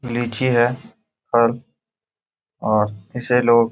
लीची है और और इसे लोग --